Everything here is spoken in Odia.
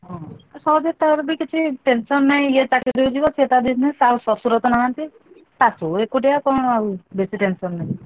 ସହଜେ ତାର ବି କିଛି tension ନାହିଁ, ଇଏ ଚାକିରୀକୁ ଯିବ ସିଏ ତାର business ତା ଶଶୁର ତ ନାହାନ୍ତି ଶାଶୁ ଏକୁଟିଆ କଣ ଆଉ ବେଶୀ tension ନାହିଁ।